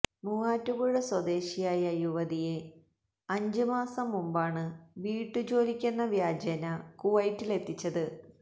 മൂവാറ്റുപുഴ സ്വദേശിയായ യുവതിയെ അഞ്ച് മാസം മുമ്പാണ് വീട്ടുജോലിക്കെന്ന വ്യാജേനെ കുവൈറ്റിലെത്തിച്ചത്